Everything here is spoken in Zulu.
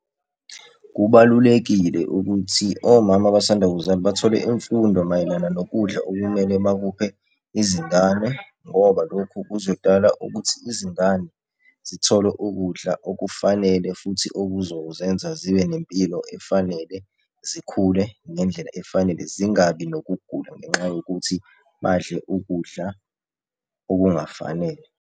Kubalulekile ukuthi omama abasanda kuzala bathole imfundo mayelana nokudla okumele bakuphe izingane, ngoba lokhu kuzodala ukuthi izingane zithole ukudla okufanele futhi okuzozenza zibe nempilo efanele, zikhule ngendlela efanele, zingabi nokugula ngenxa yokuthi badle ukudla okungafanele.